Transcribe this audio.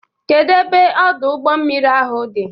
Kedu ebe Ọdụ ụgbọ mmiri ahụ dị?